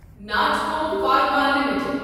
Natco pharma limited